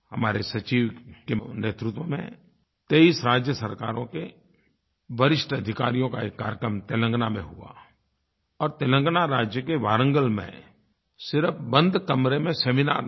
हमारे सचिव के नेतृत्व में 23 राज्य सरकारों के वरिष्ठ अधिकारियों का एक कार्यक्रम तेलंगाना में हुआ और तेलंगाना राज्य के वारंगल में सिर्फ बंद कमरे में सेमिनार नहीं